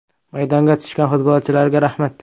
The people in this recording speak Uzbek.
Maydonga tushgan futbolchilarga rahmat.